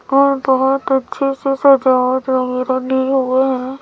वो बहुत अच्छे से सजा है।